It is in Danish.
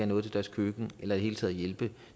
noget til deres køkken eller i det hele taget hjælpe